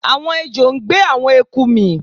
Àwọn ejò ń gbé àwọn eku mì